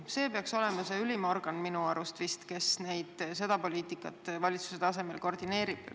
See peaks minu arust olema ülim organ, kes seda poliitikat valitsuse tasemel koordineerib.